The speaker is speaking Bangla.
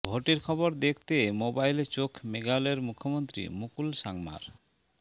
ভোটের খবর দেখতে মোবাইলে চোখ মেঘালয়ের মুখ্যমন্ত্রী মুকুল সাংমার